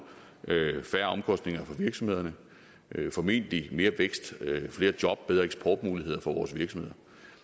færre omkostninger for virksomhederne formentlig mere vækst flere job og bedre eksportmuligheder for vores virksomheder